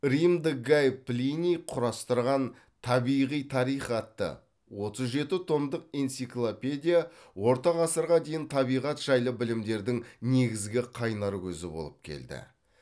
римдік гай плиний құрастырған табиғи тарих атты отыз жеті томдық энциклопедия орта ғасырға дейін табиғат жайлы білімдердің негізгі қайнар көзі болып келді